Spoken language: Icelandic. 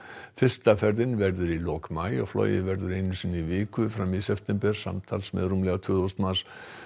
fyrsta ferðin verður í lok maí og flogið verður einu sinni í viku fram í september samtals með rúmlega tvö þúsund manns